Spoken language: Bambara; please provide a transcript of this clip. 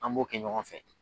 An m'o kɛ ɲɔgɔn fɛ.